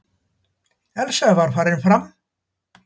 Elsa var farin fram.